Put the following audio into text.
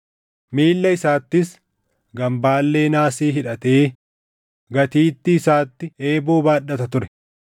miilla isaattis gambaallee naasii hidhatee gatiittii isaatti eeboo baadhata ture.